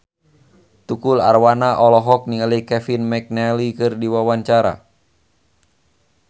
Tukul Arwana olohok ningali Kevin McNally keur diwawancara